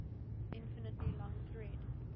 infinitely long thread